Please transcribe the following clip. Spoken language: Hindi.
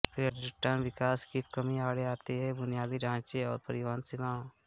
पर्यटन विकास की कमी आड़े आती है बुनियादी ढांचे और परिवहन सीमाओं